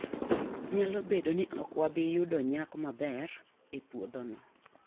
Nyalo bedo ni ok wabi yudo nyak maber e puodhono.